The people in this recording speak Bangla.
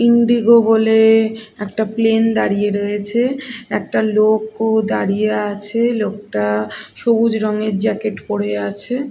ইন্ডিগো বলে এ একটা প্লেন দাঁড়িয়ে রয়েছে একটা লোকও দাঁড়িয়ে আছে লোকটা সবুজ রঙের জ্যাকেট পরে আছে।